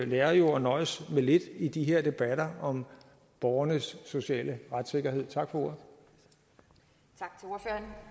lærer jo at nøjes med lidt i de her debatter om borgernes sociale retssikkerhed tak for ordet